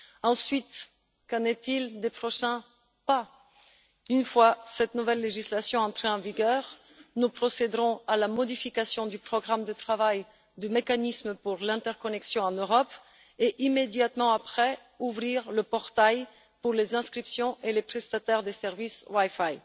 Ensuite, qu'en est il des prochaines étapes? Une fois cette nouvelle législation entrée en vigueur, nous procéderons à la modification du programme de travail du mécanisme pour l'interconnexion en Europe et, immédiatement après, nous ouvrirons le portail pour les inscriptions et les prestataires des services wifi.